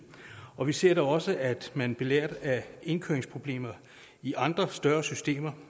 og vi ser da også at man belært af indkøringsproblemer i andre større systemer